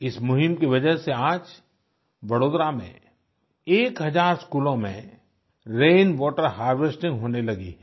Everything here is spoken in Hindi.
इस मुहिम की वजह से आज वडोदरा में एक हजार स्कूलों में रैन वाटर हार्वेस्टिंग होने लगी है